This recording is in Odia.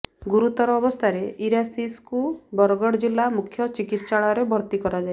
ଗୁରୁତର ଅବସ୍ଥାରେ ଇରାଶିଷଙ୍କୁ ବରଗଡ଼ ଜିଲ୍ଲା ମୁଖ୍ୟ ଚିକିତ୍ସାଳୟରେ ଭର୍ତ୍ତି କରାଯାଇଛି